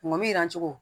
Mɔbili jirancogo